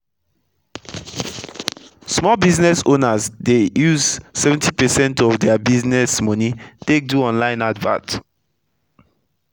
small business owners dey use 70 percent of dia business moni take do online advert